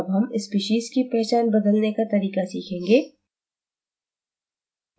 अब हम species की पहचान बदलने का तरीक़ा सीखेंगें